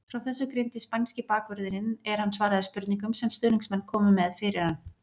Frá þessu greindi spænski bakvörðurinn er hann svaraði spurningum sem stuðningsmenn komu með fyrir hann.